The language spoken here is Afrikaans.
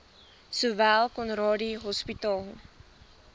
sowel conradie hospitaal